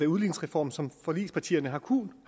udligningsreformen som forligspartierne har kunnet